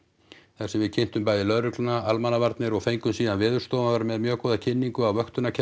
þar sem við kynntum bæði lögregluna almannavarnir og fengum síðan Veðurstofan var með mjög góða kynningu á